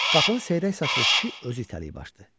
Qapını seyrək saçlı kişi özü itələyib açdı.